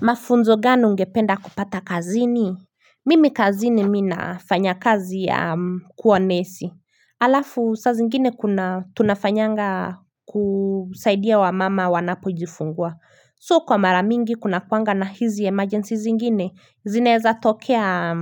Mafunzo gani ungependa kupata kazini mimi kazini mimi nina fanya kazi ya kuwa nesi alafu saa zingine kuna tunafanyanga kusaidia wamama wanapojifungua so kwa mara mingi kunakuanga na hizi emergency zingine zinaeza tokea